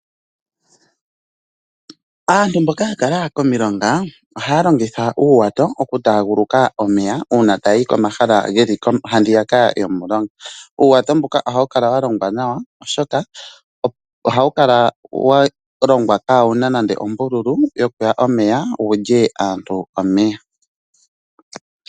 Aantu mboka ya kala komilonga ohaya longitha uuwato okutaaguluka omeya uuna taya yi komahala geli ha yika yomulonga. Uuwato mbuka ohawu kala wa longwa nawa oshoka ohawu kala kaawuna nande ombuluku ka muye omeya wulye aantu omeya.